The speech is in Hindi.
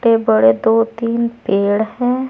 बड़े दो तीन पेड़ हैं।